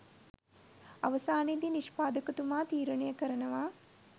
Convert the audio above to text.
අවසානයේදී නිෂ්පාදකතුමා තීරනය කරනවා